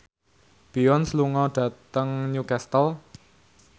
Beyonce lunga dhateng Newcastle